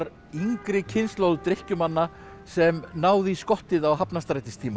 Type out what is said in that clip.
yngri kynslóð drykkjumanna sem náði í skottið á